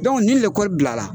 ni lekɔli bilala